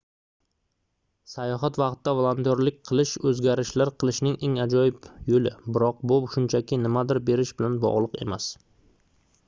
sayohat vaqtida volontyorlik qilish oʻzgarishlar qilishning eng ajoyib yoʻli biroq bu shunchaki nimadir berish bilan bogʻliq emas